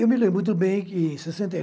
Eu me lembro muito bem que em sessenta e